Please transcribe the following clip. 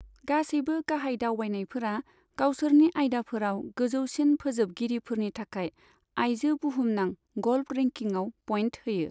गासैबो गाहाय दावबायनायफोरा गावसोरनि आयदाफोराव गोजौसिन फोजोबगिरिफोरनि थाखाय आइजो बुहुमनां ग'ल्फ रेंकिंआव पइन्ट होयो।